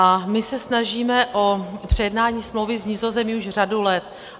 A my se snažíme o přejednání smlouvy s Nizozemím už řadu let.